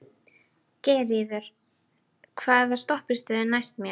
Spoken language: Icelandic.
Geirríður, hvaða stoppistöð er næst mér?